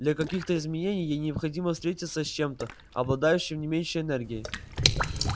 для каких-то изменений ей необходимо встретиться с чем-то обладающим не меньшей энергией